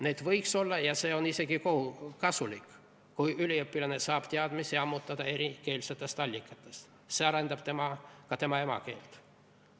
Neid võiks olla ja see on isegi kasulik, kui üliõpilane saab teadmisi ammutada erikeelsetest allikatest – see arendab ka tema emakeelt.